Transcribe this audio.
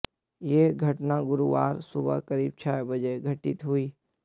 यह घटना गुरुवार सुबह करीब छह बजे घटित हुई